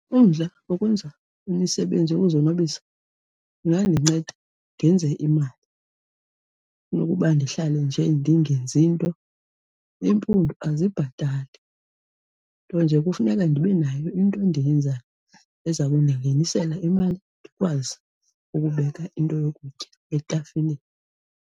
Umdla wokwenza imisebenzi yokuzonwabisa ingandinceda ndenze imali kunokuba ndihlale nje ndingenzi nto. Iimpundu azibhatali, nto nje kufuneka ndibe nayo into endiyenzayo eza kundingenisela imali ndikwazi ukubeka into yokutya etafileni.